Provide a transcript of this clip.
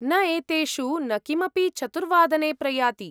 न, एतेषु न किमपि चतुर्वादने प्रयाति।